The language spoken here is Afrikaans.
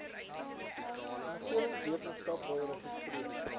omgewingswetenskap wil registreer